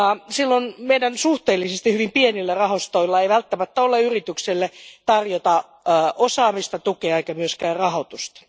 Silloin meidän suhteellisesti hyvin pienillä rahastoillamme ei välttämättä ole tarjota yritykselle osaamista, tukea eikä myöskään rahoitusta.